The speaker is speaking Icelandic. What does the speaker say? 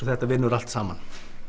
þetta vinnur allt saman